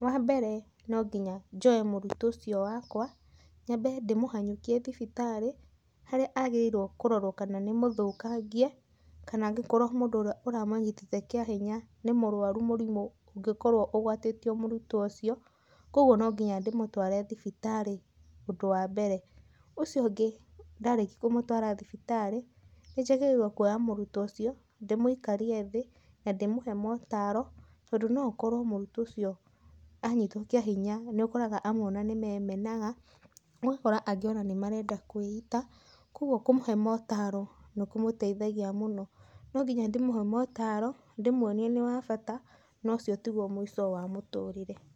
Wambere nonginya njoye mũrutwo ũcio wakwa nyambe ndĩmũhanyũkie thibitarĩ, harĩa agĩrĩirwo kũrorwo kana nĩ mũthũkangie, kana angĩkorwo mũndũ ũrĩa ũramũnyitĩte kĩahinya nĩ mũrwaru mũrimũ ũngĩkorwo ũgwatĩtio mũrutwo ũcio, kwogwo nonginya ndĩmũtware thibitarĩ ũndũ wambere. Ũcio ũngĩ ndarĩkia kũmũtwara thibitarĩ, nĩnjagĩrĩirwo kwoya mũrutwo ucio, ndĩmũikarie thĩ na ndĩmũhe mootaro, tondũ noũkorwo mũrutwo ũcio anyitwo kĩahinya, nĩũkoraga amwe ona nĩmemenaga, ũgakora angĩ ona nĩmarenda kwĩita, kwogwo kũmũhe mootaro nĩkũmũteithagia mũno. Nonginya ndĩmũhe mootaro na ndĩmuonie nĩ wa bata na ũcio tiguo mũico wa mũtũrĩre.